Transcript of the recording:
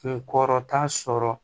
Kunkɔrɔta sɔrɔ